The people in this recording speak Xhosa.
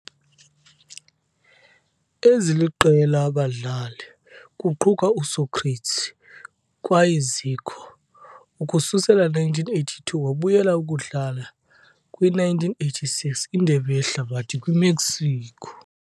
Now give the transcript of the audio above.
Eziliqela abadlali, kuquka Sócrates kwaye Zico, ukususela 1982 wabuyela ukudlala kwi - 1986 Indebe Yehlabathi kwi-Mexico.